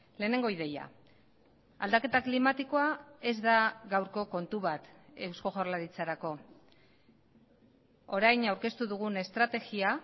lehenengo ideia aldaketa klimatikoa ez da gaurko kontu bat eusko jaurlaritzarako orain aurkeztu dugun estrategia